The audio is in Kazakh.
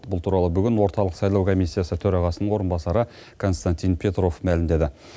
бұл туралы бүгін орталық сайлау комиссиясы төрағасының орынбасары константин петров мәлімдеді